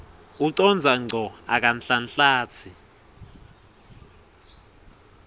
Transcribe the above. ucondza ngco akanhlanhlatsi